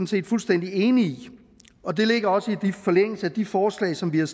set fuldstændig enige i og det ligger også i forlængelse af de forslag som vi har